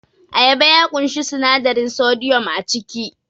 Ayaba ya ƙunshi sinadarin sodiyam a ciki